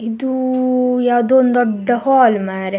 ಇದು ಯಾವದೋ ಒಂದು ದೊಡ್ಡ ಹಾಲ್ ಮಾರೆ.